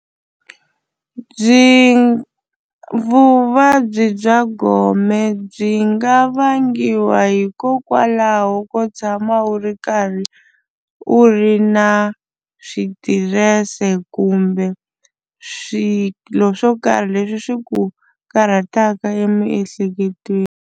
Byi vuvabyi bya gome byi nga vangiwa hikokwalaho ko tshama wu ri karhi u ri na switirese kumbe swilo swo karhi leswi swi ku karhataka emiehleketweni.